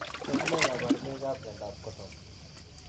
Tos nee kabarunoik ap Miondop Korton ?